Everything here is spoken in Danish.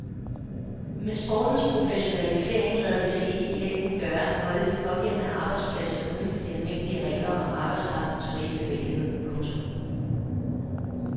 Med sportens professionalisering lader det sig ikke i længden gøre at holde de pågældende arbejdspladser uden for de almindelige regler om arbejdskraftens frie bevægelighed. punktum